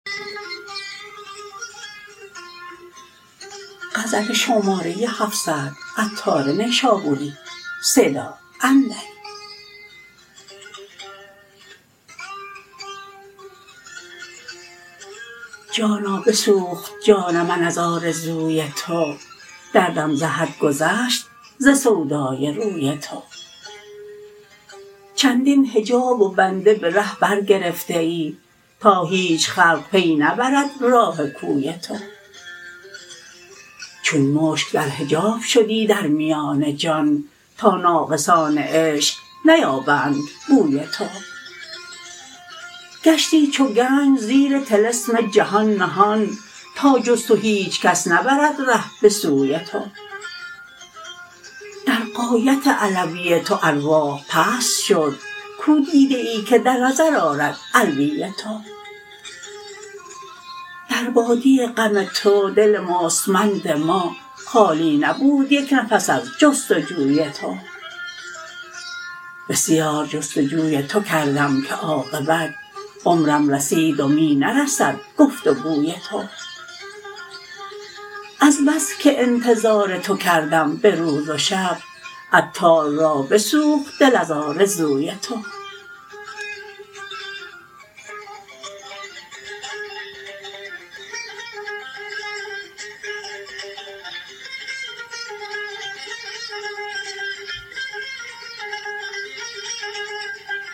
جانا بسوخت جان من از آرزوی تو دردم ز حد گذشت ز سودای روی تو چندین حجاب و بنده به ره بر گرفته ای تا هیچ خلق پی نبرد راه کوی تو چون مشک در حجاب شدی در میان جان تا ناقصان عشق نیابند بوی تو گشتی چو گنج زیر طلسم جهان نهان تا جز تو هیچکس نبرد ره به سوی تو در غایت علوی تو ارواح پست شد کو دیده ای که در نظر آرد علوی تو در وادی غم تو دل مستمند ما خالی نبود یک نفس از جستجوی تو بسیار جست و جوی تو کردم که عاقبت عمرم رسید و می نرسد گفت و گوی تو از بس که انتظار تو کردم به روز و شب عطار را بسوخت دل از آرزوی تو